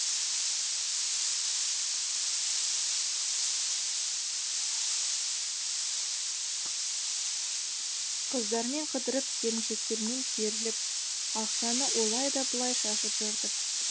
қыздармен қыдырып келіншектермен керіліп ақшаны олай да былай да шашып жүрдім